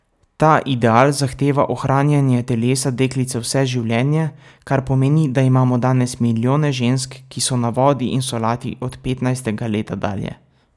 Ta ideal zahteva ohranjanje telesa deklice vse življenje, kar pomeni, da imamo danes milijone žensk, ki so na vodi in solati od petnajstega leta dalje.